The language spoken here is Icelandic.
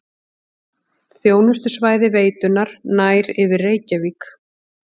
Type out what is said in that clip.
Þjónustusvæði veitunnar nær yfir Reykjavík